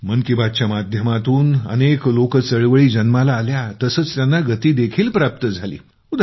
मन की बात च्या माध्यमातून अनेक लोकचळवळी जन्माला आल्या तसेच त्यांना गती देखील प्राप्त झाली